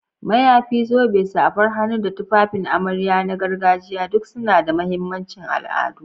Mayafi, zobe, safar hannu, da tufafin amarya na gargajiya duk suna da mahimmancin al'adu.